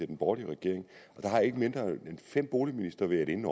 den borgerlige regering har ikke mindre end fem boligministre været inde